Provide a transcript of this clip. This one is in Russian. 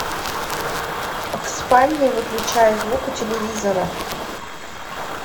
в спальне выключай звук у телевизора